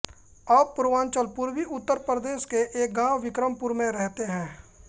अब पूर्वांचल पूर्वी उत्तर प्रदेश के एक गांव विक्रमपुर में रहते हैं